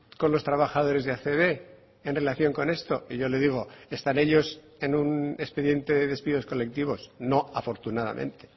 con los trabajadores de acb en relación con esto y yo le digo están ellos en un expediente de despidos colectivos no afortunadamente